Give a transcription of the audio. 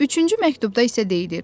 Üçüncü məktubda isə deyilirdi: